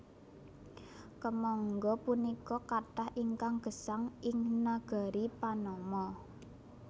Kèmangga punika kathah ingkang gesang ing nagari Panama